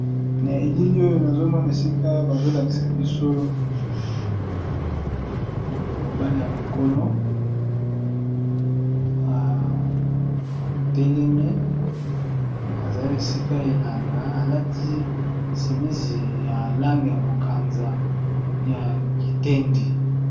Na elili oyo nazomona esika bazolakisa biso mobale ya mokolo atelemi azali esika elanga alati simisi ya langi ya bokanza ya kitendi.